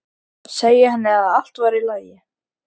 Segja henni að allt væri í lagi.